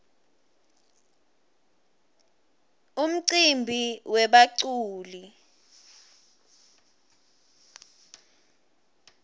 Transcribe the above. umcimbi webaculi